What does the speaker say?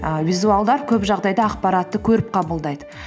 ііі визуалдар көп жағдайда ақпаратты көріп қабылдайды